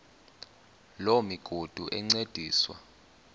loo migudu encediswa